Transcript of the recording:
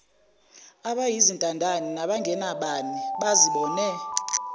abayizintandane nabangenabani bazibone